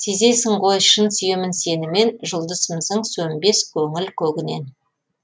сезесің ғой шын сүйемін сені мен жұлдызымсың сөнбес көңіл көгінен